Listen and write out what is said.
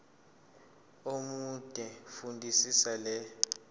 omude fundisisa le